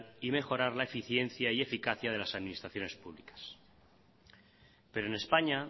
y mejorar la eficiencia y eficacia de las administraciones públicas pero en españa